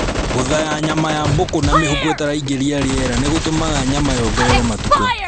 Gũthaya nyama ya mbũkũ na mĩhuko ĩtaraingĩria rĩera nĩ gũtũmaga nyama yongerere matukũ